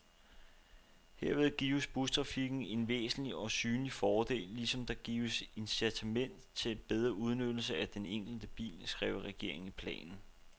Herved gives bustrafikken en væsentlig, og synlig fordel, ligesom der gives incitament til bedre udnyttelse af den enkelte bil, skrev regeringen i planen.